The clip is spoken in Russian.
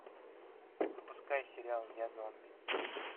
запускай сериал я зомби